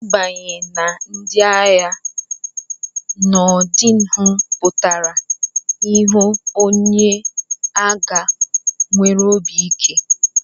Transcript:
Ịbanye na ndị agha n'ọdịnihu pụtara ịghọ onye agha nwere obi ike.